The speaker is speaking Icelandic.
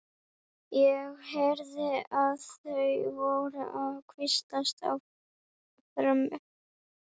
Ég heyrði að þau voru að hvíslast á frammi.